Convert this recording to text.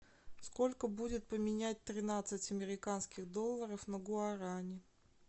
сколько будет поменять тринадцать американских долларов на гуарани